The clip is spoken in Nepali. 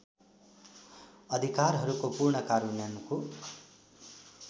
अधिकारहरूको पूर्ण कार्यान्वयनको